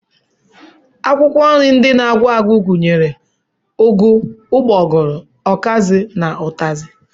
Akwụkwọ nri ndị na-akwụ akwụ gụnyere ụgụ, ụgbọgụrụ, ọkazị, ụtazị